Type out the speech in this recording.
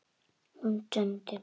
Hún stundi.